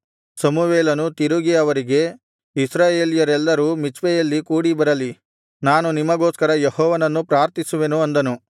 ಸಮುವೇಲನು ತಿರುಗಿ ಅವರಿಗೆ ಇಸ್ರಾಯೇಲ್ಯರೆಲ್ಲರೂ ಮಿಚ್ಪೆಯಲ್ಲಿ ಕೂಡಿಬರಲಿ ನಾನು ನಿಮಗೋಸ್ಕರ ಯೆಹೋವನನ್ನು ಪ್ರಾರ್ಥಿಸುವೆನು ಅಂದನು